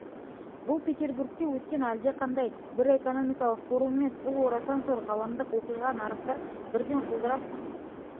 бұл петербургте өткен әлдеқандай бір экономикалық форум емес бұл орасан зор ғаламдық оқиға нарықтар бірден құлдырап